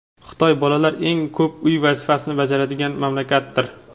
Xitoy bolalar eng ko‘p uy vazifasini bajaradigan mamlakatdir.